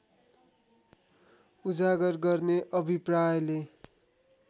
उजागर गर्ने अभिप्रायले